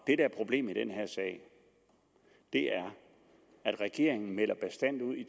der er problemet i den her sag er at regeringen meldte bastant ud